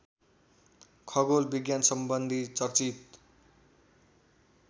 खगोल विज्ञानसम्बन्धी चर्चित